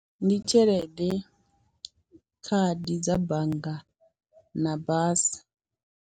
Ndi tshelede, khadi dza bannga na basa.